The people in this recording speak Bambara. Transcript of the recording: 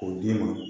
K'o d'i ma